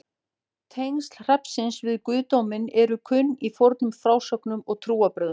Tengsl hrafnsins við guðdóminn eru kunn í fornum frásögnum og trúarbrögðum.